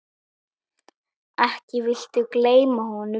Ekki viltu gleyma honum?